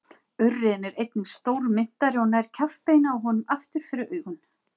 Urriðinn er einnig stórmynntari og nær kjaftbeinið á honum aftur fyrir augun.